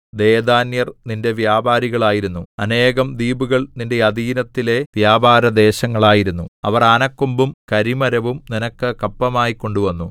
ദെദാന്യർ നിന്റെ വ്യാപാരികളായിരുന്നു അനേകം ദ്വീപുകൾ നിന്റെ അധീനത്തിലെ വ്യാപാരദേശങ്ങളായിരുന്നു അവർ ആനക്കൊമ്പും കരിമരവും നിനക്ക് കപ്പമായി കൊണ്ടുവന്നു